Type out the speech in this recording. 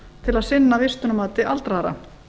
til að sinna vistunarmati aldraðra